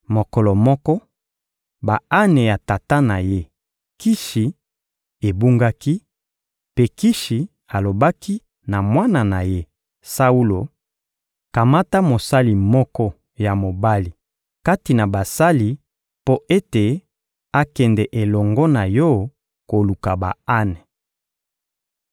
Mokolo moko, ba-ane ya tata na ye, Kishi, ebungaki; mpe Kishi alobaki na mwana na ye, Saulo: «Kamata mosali moko ya mobali kati na basali mpo ete akende elongo na yo koluka ba-ane.»